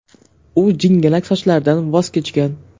U jingalak sochlaridan voz kechgan.